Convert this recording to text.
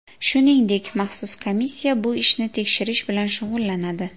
Shuningdek, maxsus komissiya bu ishni tekshirish bilan shug‘ullanadi.